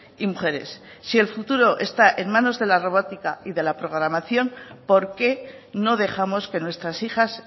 y mujeres si el futuro está en manos de la robótica y de la programación por qué no dejamos que nuestras hijas